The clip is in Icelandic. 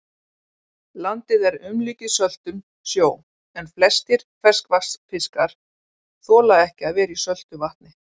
Landið er umlukið söltum sjó, en flestir ferskvatnsfiskar þola ekki að vera í söltu vatni.